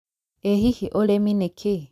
ĩ hihi ũrĩmi nĩ kĩĩ